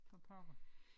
For pokker